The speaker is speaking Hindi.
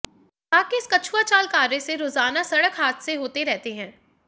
विभाग की इस कछुआ चाल कार्य से रोजाना सड़क हादसे होते रहते हैं